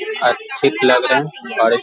और फिट लग रहे हैं और --